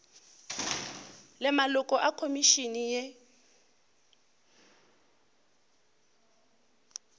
le maloko a khomišene ye